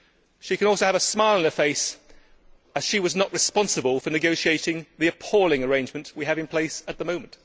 She can also have a smile on her face, as she was not responsible for negotiating the appalling arrangement we have in place at the moment.